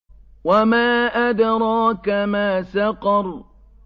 وَمَا أَدْرَاكَ مَا سَقَرُ